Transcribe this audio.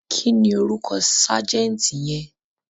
Kí ni orúkọ ságẹ́ǹtì yẹn?